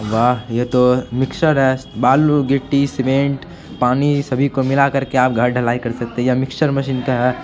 वाह! ये तो मिक्सचर है बालू गिट्टी सीमेंट पानी सभी को मिला कर के आप घर डलाई कर सकते हैं मिक्सचर मशीन का है।